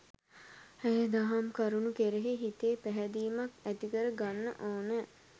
ඒදහම් කරුණු කෙරෙහි හිතේ පැහැදීමක් ඇතිකර ගන්නඕන.